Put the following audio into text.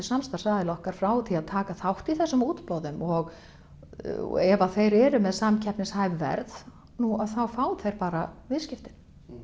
samstarfsaðila okkar frá því að taka þátt í þessum útboðum og ef að þeir eru með samkeppnishæf verð nú þá fá þeir bara viðskiptin